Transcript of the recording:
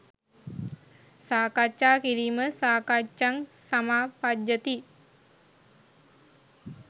සාකච්ඡා කිරීම සාකච්ඡං සමාපජ්ජති